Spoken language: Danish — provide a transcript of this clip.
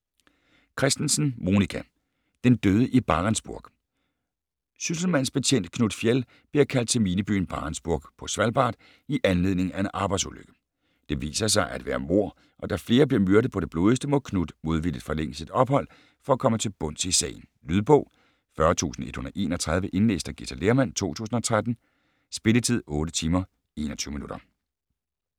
Kristensen, Monica: Den døde i Barentsburg Sysselmandsbetjent Knut Fjeld bliver kaldt til minebyen Barentsburg på Svalbard i anledning af en arbejdsulykke. Det viser sig at være mord, og da flere bliver myrdet på det blodigste, må Knut modvilligt forlænge sit ophold for at komme til bunds i sagen. Lydbog 40131 Indlæst af Githa Lehrmann, 2013. Spilletid: 8 timer, 21 minutter.